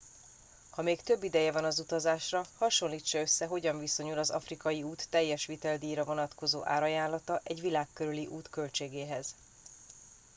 ha még több ideje van az utazásra hasonlítsa össze hogyan viszonyul az afrikai út teljes viteldíjra vonatkozó árajánlata egy világ körüli út költségéhez